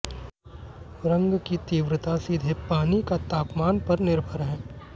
रंग की तीव्रता सीधे पानी का तापमान पर निर्भर है